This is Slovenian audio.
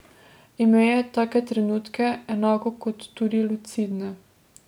Imel je take trenutke, enako kot tudi lucidne.